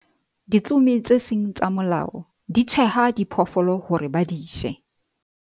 ditsomi tse seng tsa molao di tjheha diphoofolo hore ba di je